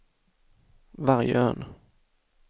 Vargön